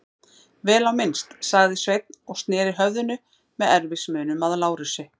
Vel á minnst, sagði Sveinn og sneri höfðinu með erfiðismunum að Lárusi.